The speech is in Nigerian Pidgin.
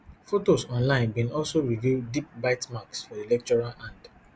fotos online bin also reveal deep bite marks for di lecturer hand